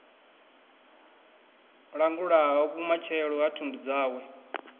langulaho vhumatshelo ha thundu dzawe